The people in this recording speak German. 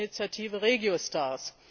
mit der Initiative RegioStars.